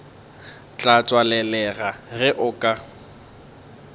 tla tswalelega ge o ka